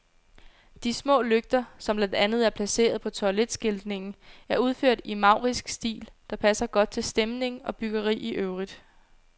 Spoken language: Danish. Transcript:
De små lygter, som blandt andet er placeret på toiletskiltningen, er udført i en maurisk stil, der passer godt til stemning og byggeri i øvrigt.